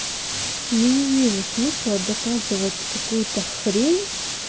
я не вижу смысла доказывать какую-то хрень